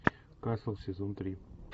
касл сезон три